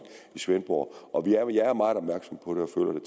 i svendborg og jeg er meget opmærksom på